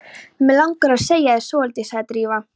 Mig langar að segja þér svolítið- sagði Drífa.